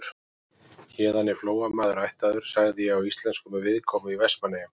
Héðan er Flóamaður ættaður, sagði ég á íslensku með viðkomu í Vestmannaeyjum.